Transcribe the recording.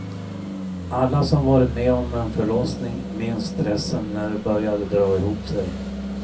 Alla som varit med om en förlossning minns stressen när det börjar dra ihop sig.